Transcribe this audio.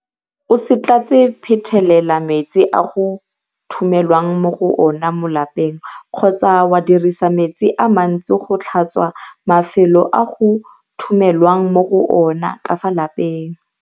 O se tlatse phetelela metsi a go thumelwang mo go ona mo malapeng kgotsa wa dirisa metsi a mantsi go tlhatswa mafelo a go thumelwang mo go ona ka fa lapeng.